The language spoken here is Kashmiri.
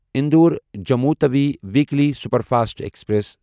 Indore Jammu Tawi weekly superfast express